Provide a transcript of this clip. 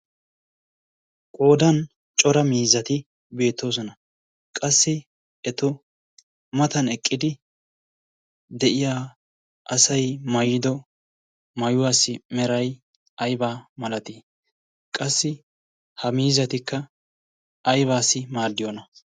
qoodan cora miizzati beettoosona. qassi eto matan eqqidi de'iya asai mayido maayuwaassi merai aibaa malatii qassi ha miizzatikka aibaassi maaddiyoona?